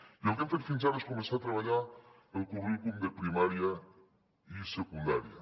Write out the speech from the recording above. i el que hem fet fins ara és començar a treballar els currículums de primària i secundària